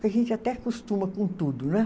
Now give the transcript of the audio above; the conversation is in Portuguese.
A gente até costuma com tudo, não é?